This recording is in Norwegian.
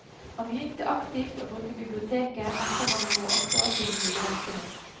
Han begynte aktivt å bruke biblioteket etter at han for åtte år siden ble pensjonist.